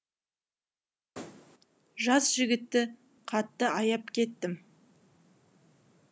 жас жігітті қатты аяп кеттім